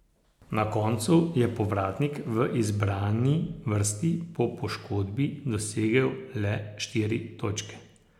Na koncu je povratnik v izbrani vrsti po poškodbi dosegel le štiri točke.